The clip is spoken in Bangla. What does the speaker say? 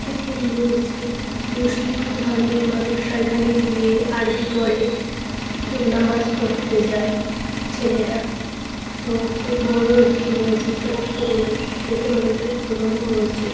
একটি মসজিদ মুসলিম ধর্মের মানুষরা এখানে গিয়ে আরবি পড়ে কেউ নামাজ পড়তে যায় ছেলেরা তো খুব বড় একটি মসজিদ অনেক পুরনো দেখে মনে হচ্ছে না খুব পুরনো মসজিদ ।